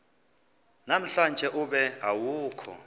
namhlanje ube awukho